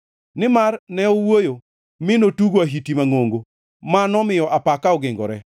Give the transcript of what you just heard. Nimar ne owuoyo, mi notugo ahiti mangʼongo ma nomiyo apaka ogingore.